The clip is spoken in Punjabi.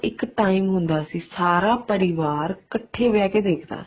ਇੱਕ time ਹੁੰਦਾ ਸੀ ਸਾਰਾ ਪਰਿਵਾਰ ਇੱਕਠੇ ਬੈਠ ਕੇ ਦੇਖਦਾ ਸੀ